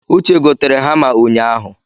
Uche gotere hama unyahụ